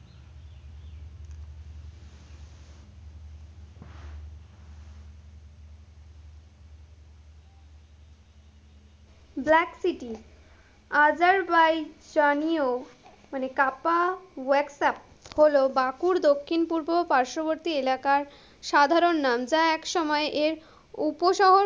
black City, হলো বাকুর দক্ষিণ পূর্ব পার্শ্ববর্তী এলাকার সাধারণ নাম, যা একসময় এর উপশহর,